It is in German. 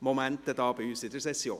Momente hier bei uns in der Session.